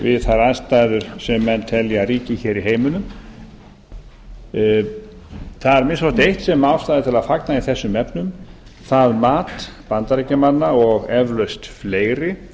við þær aðstæður sem menn telja að ríki hér í heiminum það er að minnsta kosti eitt sem er ástæða til þess að fagna í þessum efnum það mat bandaríkjamanna og eflaust fleiri